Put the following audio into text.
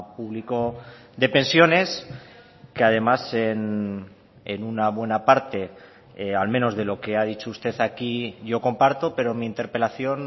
público de pensiones que además en una buena parte al menos de lo que ha dicho usted aquí yo comparto pero mi interpelación